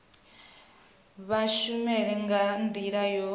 vha tshumelo nga ndila yo